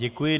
Děkuji.